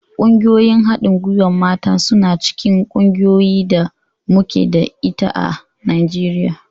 Ƙungiyoyin haɗin gwiwar mata suna cikin ƙungiyar da muke da ita a Najeriya.